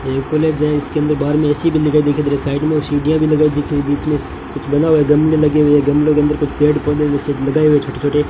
ये कोलेज है इसके अंदर बार में ए_सी लगाई दिख रहा साइड में सीढ़ियां भी लगाई दिख रही बीच में कुछ लगा हुआ है गमले लगे हुए हैं गमले के अंदर कुछ पेड़ पौधे जैसे लगाए हुए छोटे छोटे --